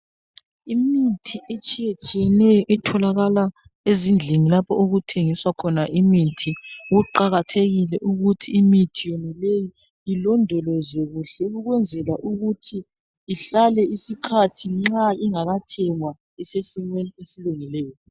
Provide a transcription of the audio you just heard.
Imithi etshiye tshiyeneyo etholakala ezindlini lapho okuthengiswa khona imithi kuqakathekile ukuthi imithi yonaleyo ilondolozwe kuhle ukwenzela ukuthi ihlale isikhathi nxa ingakathengwa isesimeni esilungileyo.